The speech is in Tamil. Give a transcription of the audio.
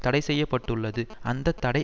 தடைசெய்யப்பட்டுள்ளது அந்த தடை